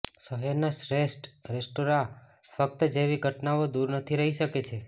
શહેરના શ્રેષ્ઠ રેસ્ટોરાં ફક્ત જેવી ઘટનાઓ દૂર નથી રહી શકે છે